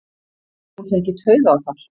Hún fengi taugaáfall!